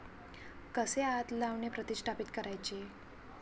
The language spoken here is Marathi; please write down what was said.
कसे आत लावणे प्रतिष्ठापीत करायचे?